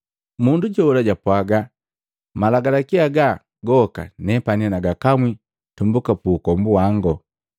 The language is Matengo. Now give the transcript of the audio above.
Mundu jola japwaga, “Malagalaki haga gooka nepani nagakamwi tumbuka pu ukombu wangu.”